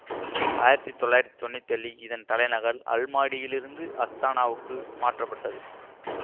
ஆயிரத்தி தொள்ளாயிரத்தி தொன்னூற்தி ஏழில் இதன் தலைநகல் அல்மாடியிலிருந்து அஸ்தானாவுக்கு மாற்றப்பட்டது